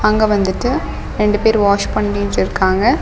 அங்க வந்துட்டு ரெண்டு பேர் வாஷ் பண்ணிட்டுருக்காங்க.